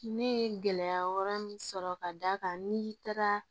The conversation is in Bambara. Ne ye gɛlɛya wɛrɛ min sɔrɔ ka d'a kan n'i taara